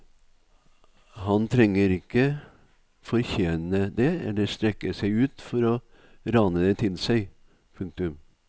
Han trenger ikke fortjene det eller strekke seg ut for å rane det til seg. punktum